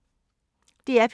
DR P3